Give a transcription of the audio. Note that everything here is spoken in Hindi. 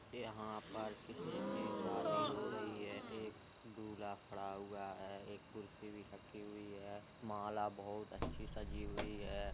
यहाँ पर किसी की शादी हो रही है। एक दूल्हा खड़ा हुआ है एक कुर्सी भी रखी हुई है। माला बहुत अच्छी सजी हुई है।